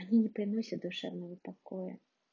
мне не приносят душевного покоя